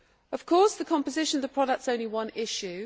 Of course, the composition of products is only one issue.